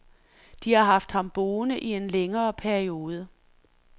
De har haft ham boende i en længere periode.